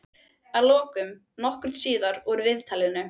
Að lokum, nokkru síðar úr viðtalinu.